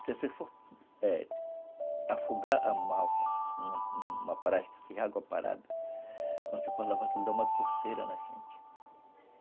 Se você for, eh, afogar a malva numa numa praia sem água parada, quando você for lavar, ela dá uma coceira na gente.